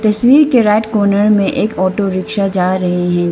तस्वीर के right corner में एक ऑटो रिक्शा जा रहे हैं जि --